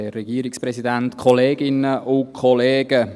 Vor 13 Jahren wurde ich Vater.